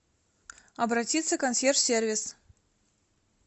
обратиться к консьерж сервис